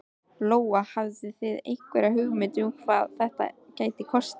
Lóa: Hafið þið einhverja hugmynd um hvað þetta gæti kostað?